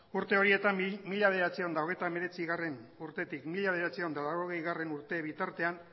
urte horietan mila bederatziehun eta hogeita hemeretzigarrena urtetik mila bederatziehun eta laurogeigarrena urte bitartean